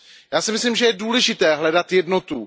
Já si myslím, že je důležité hledat jednotu.